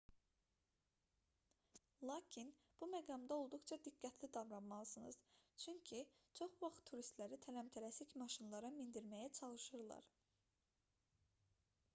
lakin bu məqamda olduqca diqqətli davranmalısınız çünki çox vaxt turistləri tələm-tələsik maşınlara mindirməyə çalışırlar